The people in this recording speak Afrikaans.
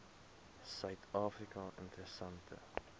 suid afrika interessante